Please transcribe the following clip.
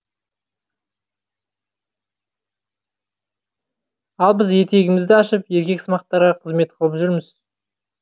ал біз етегімізді ашып еркексымақтарға қызмет қылып жүрміз